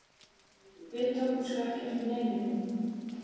Við tókum sko ekki eftir neinu.